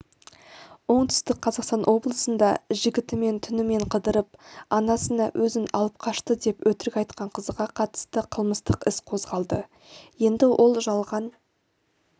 оңтүстік қазақстан облысында жігітімен түнімен қыдырып анасына өзін алып қашты деп өтірік айтқан қызға қатысты қылмыстық іс қозғалды енді ол жалған